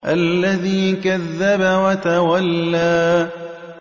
الَّذِي كَذَّبَ وَتَوَلَّىٰ